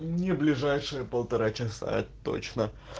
не ближайшие полтора часа